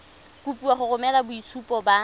kopiwa go romela boitshupo ba